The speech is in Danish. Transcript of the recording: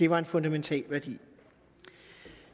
var en fundamental værdi